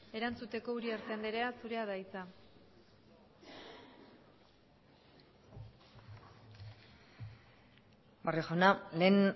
erantzuteko uriarte andrea zurea da hitza barrio jauna lehen